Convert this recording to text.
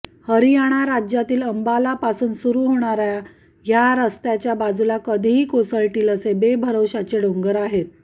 हरियाणा राज्यातील अंबाला पासून सुरु होणाऱ्या ह्या रस्त्याच्या बाजूला कधीही कोसळतील असे बेभरवश्याचे डोंगर आहेत